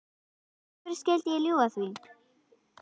Af hverju skyldi ég ljúga því?